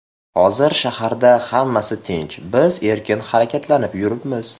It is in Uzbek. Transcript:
Hozir shaharda hammasi tinch, biz erkin harakatlanib yuribmiz.